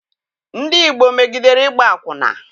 Ndị Igbo megidere ịgba akwụna.